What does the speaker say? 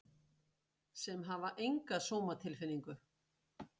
Sem hafa enga sómatilfinningu.